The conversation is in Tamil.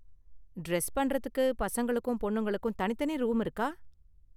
டிரஸ் பண்றதுக்கு பசங்களுக்கும் பொண்ணுங்களுக்கும் தனித்தனி ரூம் இருக்கா?